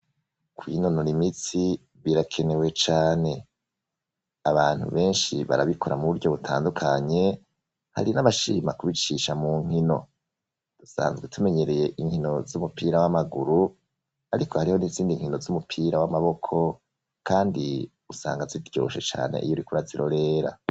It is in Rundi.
Kwinonora imitsi birakenewe cane, abantu benshi barabikora muburyo butandukanye hari n'abashima kubicisha munkino, inkino z'umupira n'amaguru, ariko hariho n'inkino z'umupira w'amaboko nazonyene ziraryoshe kurorera.